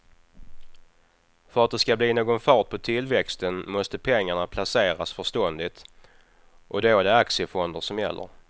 För att det ska bli någon fart på tillväxten måste pengarna placeras förståndigt och då är det aktiefonder som gäller.